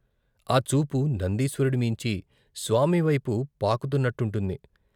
ఆ చూపు నందీశ్వరుడి మీంచి స్వామివైపు పాకు తున్నట్టుంటుంది.